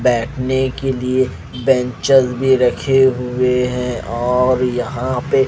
बैठने के लिए बेंचेज भी रखे हुए हैं और यहां पे--